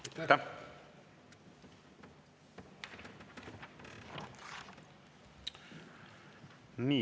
Aitäh!